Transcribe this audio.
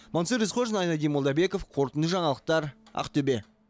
мансұр есқожин айнадин молдабеков қорытынды жаңалықтар ақтөбе